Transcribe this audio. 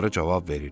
Qarı cavab verir: